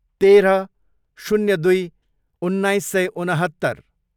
तेह्र, शून्य दुई, उन्नाइस सय उनहत्तर